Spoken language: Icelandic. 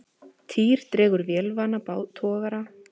Týr dregur vélarvana togara að landi